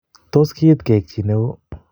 Tos keiit keek chi ne oo.